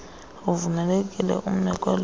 uvumelekile ume kwelona